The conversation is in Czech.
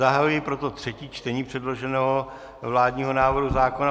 Zahajuji proto třetí čtení předloženého vládního návrhu zákona.